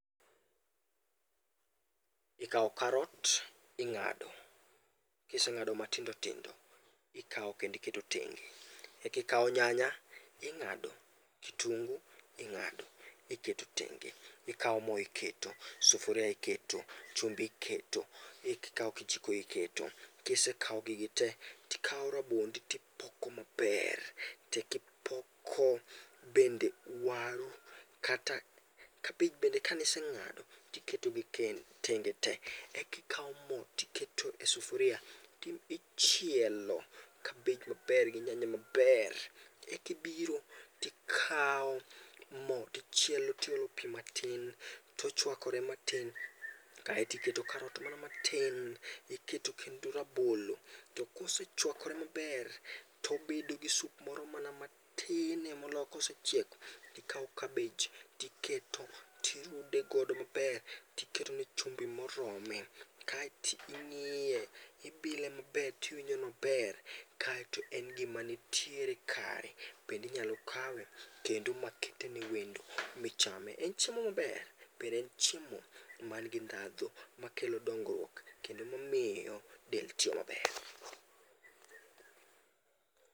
Ikao karot ing'ado, kiseng'ado matindo tindo ikao kendo tenge. Eka ikao nyanya, ing'ado, kitunguu ing'ado, iketo tenge, ikao mo iketo, sufuria iketo, chumbi iketo, ika ikao kijiko iketo. Kisekawo gigi te to ikawo rabondi to ipoko maber. Eka ipoko waru kabich bende ise ng'ado tiketogi tenge tee. Eka ikawo mo to iketo e sufuria to ichielo kabich maber gi nyanya maber. Eka ibiro tikawo mo tichielo tiolo pi matin, tochuakore mana matin kae to iketo karot mana matin. Iketo kendo rab olo to kosechuakore maber, to obedo gi soup moro mana matin moloyo kosechiek tikawo kabich tiketo tirude godo mana maber. To iketone chumbi morome, kaeto ing'iye, ibile maber tiwibjo nober kaeto en gimanitiere kare bende inyalo kawe kendo makete newendo michame. En chiemo maber, bende en chiemo man gi ndhadhu makelo dongruok bende mamiyo del tiyo maber.